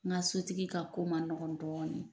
N ka sotigi ka ko man nɔgɔn dɔɔni .